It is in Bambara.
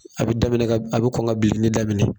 A bi daminɛ ka a bi kɔn ka bilenni daminɛ